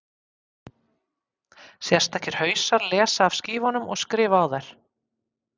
Sérstakir hausar lesa af skífunum og skrifa á þær.